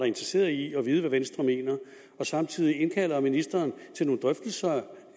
interesseret i at vide hvad venstre mener samtidig indkalder ministeren til nogle drøftelser